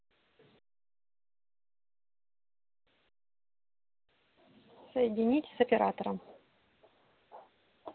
соедините с оператором